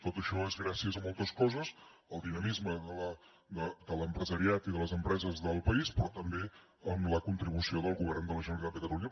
tot això és gràcies a moltes coses al dinamisme de l’empresariat i de les empreses del país però també amb la contribució del govern de la generalitat de catalunya